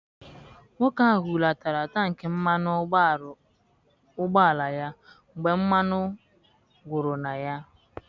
Nwoke ahụ hulatara tankị mmanụ ụgbọala ya mgbe mmanụ gwụrụ na ya.